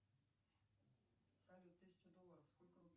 салют тысяча долларов сколько рублей